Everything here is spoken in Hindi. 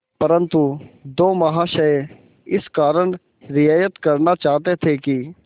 परंतु दो महाशय इस कारण रियायत करना चाहते थे कि